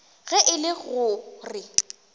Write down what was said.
ge e le go re